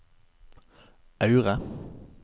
Aure